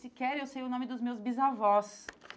Sequer eu sei o nome dos meus bisavós.